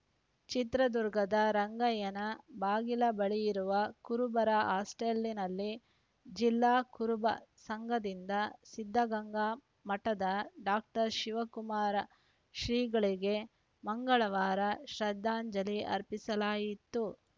ಚಿತ್ರದುರ್ಗದ ರಂಗಯ್ಯನ ಬಾಗಿಲ ಬಳಿಯಿರುವ ಕುರುಬರ ಹಾಸ್ಟೆಲ್‌ನಲ್ಲಿ ಜಿಲ್ಲಾ ಕುರುಬ ಸಂಘದಿಂದ ಸಿದ್ಧಗಂಗಾ ಮಠದ ಡಾಕ್ಟರ್ ಶಿವಕುಮಾರ ಶ್ರೀಗಳಿಗೆ ಮಂಗಳವಾರ ಶ್ರದ್ಧಾಂಜಲಿ ಅರ್ಪಿಸಲಾಯಿತು